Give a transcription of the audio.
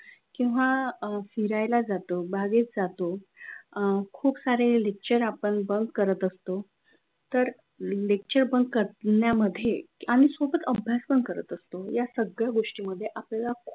किंवा फिरायला जातो बागेत जातो खूप सारे lecture आपण bunk करत असतो! तर lecturebunk करण्यामध्ये आणि त्यासोबत अभ्यास पण करत असतो. या सगळ्या गोष्टींमध्ये आपल्याला खूप,